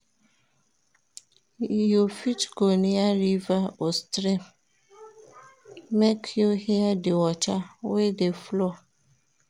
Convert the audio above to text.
You fit go near river or stream, make you hear di water wey dey flow.